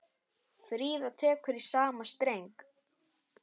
Fríða tekur í sama streng.